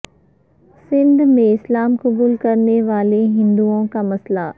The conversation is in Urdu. سندھ میں اسلام قبول کرنے والے ہندوئوں کا مسئلہ